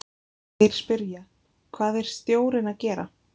Þeir spyrja: Hvað er stjórinn að gera?